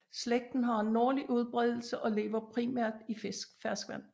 Slægten har en nordlig udbreddelse og lever primært i ferskvand